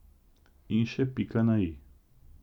In še pika na i.